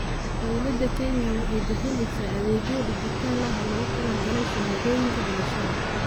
Dowladda Kenya waxay bixisaa adeegyo dhijitaal ah oo loogu talagalay shahaadooyinka dhalashada.